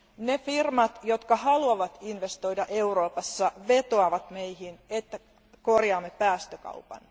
Ne firmat, jotka haluavat investoida Euroopassa, vetoavat meihin, että korjaamme päästökaupan.